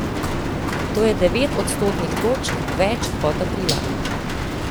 To je devet odstotnih točk več kot aprila.